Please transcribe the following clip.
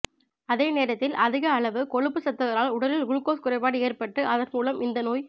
அதே நேரத்தில் அதிக அளவு கொழுப்பு சத்துகளால் உடலில் குளுக்கோஸ் குறைபாடு ஏற்பட்டு அதன் மூலம் இந்தநோய்